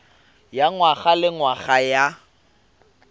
ya ngwaga le ngwaga ya